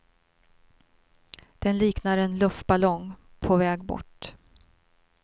Den liknar en luftballong på väg bort.